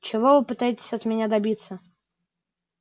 чего вы пытаетесь от меня добиться